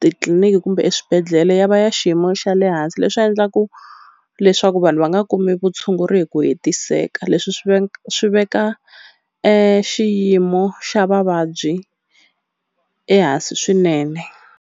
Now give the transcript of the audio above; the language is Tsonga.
titliliniki kumbe eswibedhlele ya va ya xiyimo xa le hansi leswi endlaku leswaku vanhu va nga kumi vutshunguri hi ku hetiseka leswi swi swi veka e xiyimo xa vavabyi ehansi swinene.